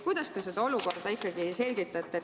Kuidas te ikkagi seda olukorda selgitate?